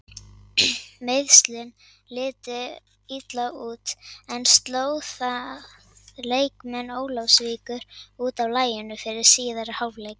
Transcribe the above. Meiðslin litu illa út en sló það leikmenn Ólafsvíkur út af laginu fyrir síðari hálfleikinn?